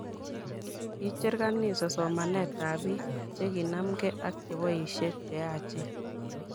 Kicher kanisa somanent ab biik chikinanmke ak cheboisie cheyachen